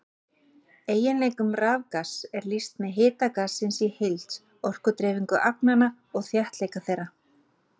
Eiginleikum rafgass er lýst með hita gassins í heild, orkudreifingu agnanna og þéttleika þeirra.